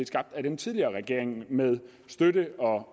skabt af den tidligere regering med støtte af og